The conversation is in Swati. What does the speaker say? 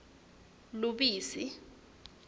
lubisi